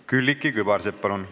Külliki Kübarsepp, palun!